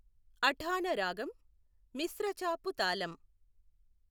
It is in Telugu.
అఠాణ రాగం మిశ్రచాపు తాళం.